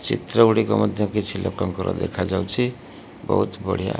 ଚିତ୍ର ଗୁଡ଼ିକ ମଧ୍ଯ କିଛି ଲୋକଙ୍କର ଦେଖାଯାଉଛି ବହୁତ ବଢିଆ।